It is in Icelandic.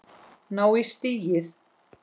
Ná í stigið.